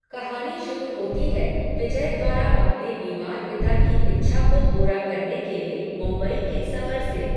कहानी शुरू होती है विजय द्वारा अपने बीमार पिता की इच्छा को पूरा करने के लिए मुंबई के सफ़र से।